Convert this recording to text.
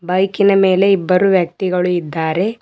ಬೈಕಿನ ಮೇಲೆ ಇಬ್ಬರು ವ್ಯಕ್ತಿಗಳು ಇದ್ದಾರೆ.